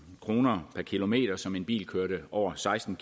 kroner per kilometer som en bil kørte over seksten